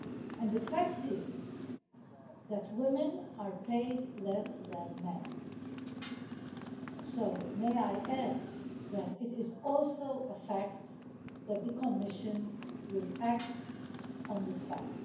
And the fact is that women are paid less than men, so may I add that it is also a fact that the Commission will act on this fact.